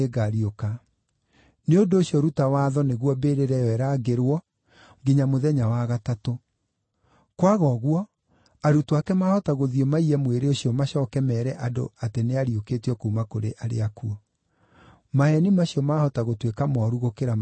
Nĩ ũndũ ũcio ruta watho nĩguo mbĩrĩra ĩyo ĩrangĩrwo nginya mũthenya wa gatatũ. Kwaga ũguo, arutwo ake maahota gũthiĩ maiye mwĩrĩ ũcio macooke meere andũ atĩ nĩariũkĩtio kuuma kũrĩ arĩa akuũ. Maheeni macio maahota gũtuĩka mooru gũkĩra marĩa ma mbere.”